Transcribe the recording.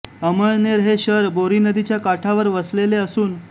अमळनेर हे शहर बोरी नदीच्या काठावर वसलेले असून